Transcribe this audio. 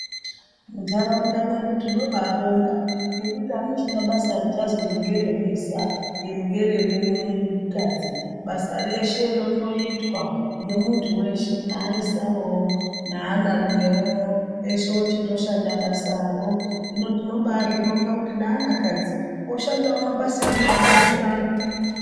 Muntaraunda mwedu tino babonga ngekuti hamuchina basa richanzi iri ngeremuisa, iringere mukadzi. Basa reshe rakungoitwa ngemuntu weshe naaisawo, naanarumewo, ese ochingoshanda basaro. Hino tinoba zvibongawo kuti neana kadzi oshandawo mabasa emuzvibhedlera ano.